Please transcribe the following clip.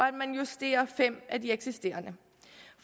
at man justerer fem af de eksisterende